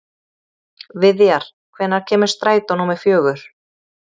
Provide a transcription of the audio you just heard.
Viðjar, hvenær kemur strætó númer fjögur?